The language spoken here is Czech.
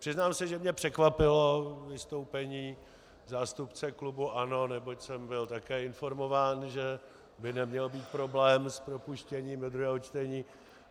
Přiznám se, že mě překvapilo vystoupení zástupce klubu ANO, neboť jsem byl také informován, že by neměl být problém s propuštěním do druhého čtení.